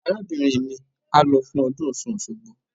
Arábìnrin mi á lọ fún ọdún Ọ̀ṣun Òṣogbo.